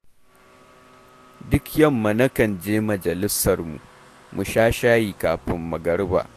Duk yamma nakan je majalisarmu, mu sha shayi kafin magariba